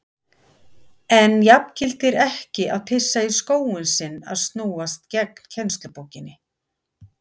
En jafngildir ekki að pissa í skóinn sinn að snúast gegn kennslubókinni?